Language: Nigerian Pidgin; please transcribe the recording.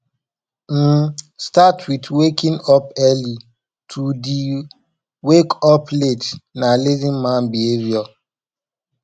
um start with waking up early to de wake up late na lazy man behavior